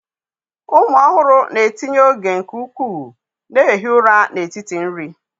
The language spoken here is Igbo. Ụmụ ọhụrụ na-etinye oge nke ukwuu na-ehi ụra n'etiti nri.